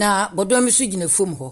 Na bɔdɔm nso gyina fom hɔ.